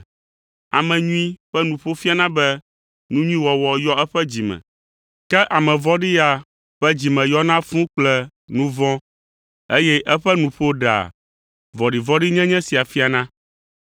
Ame nyui ƒe nuƒo fiana be nu nyui wɔwɔ yɔ eƒe dzi me. Ke ame vɔ̃ɖi ya ƒe dzi me yɔna fũu kple nu vɔ̃, eye eƒe nuƒo ɖea vɔ̃ɖivɔ̃ɖinyenye sia fiana.